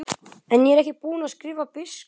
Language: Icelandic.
En ég er ekki búinn að skrifa biskupnum.